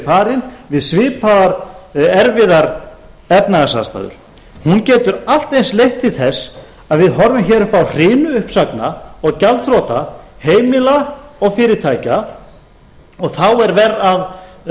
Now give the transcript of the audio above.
farin við svipaðar erfiðar efnahagsaðstæður hún getur allt eins leitt til þess að við horfum hér upp á hrinu uppsagna og gjaldþrota heimila og fyrirtækja og þá er verra af